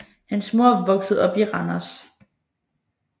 Hans mor voksede op i Randers